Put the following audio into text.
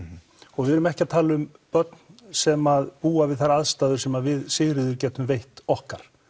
og við erum ekki að tala um börn sem búa við þær aðstæður sem við Sigríður getum veitt okkar